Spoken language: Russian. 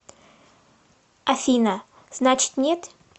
афина значит нет